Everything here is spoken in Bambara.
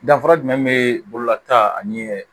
Danfara jumɛn be bɔlɔta ani